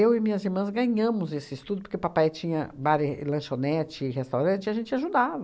e minhas irmãs ganhamos esse estudo, porque papai tinha bar e lanchonete e restaurante e a gente ajudava.